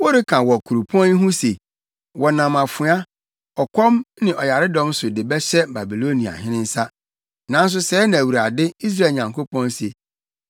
“Woreka wɔ kuropɔn yi ho se, ‘Wɔnam afoa, ɔkɔm ne ɔyaredɔm so de bɛhyɛ Babiloniahene nsa’; nanso sɛɛ na Awurade, Israel Nyankopɔn se: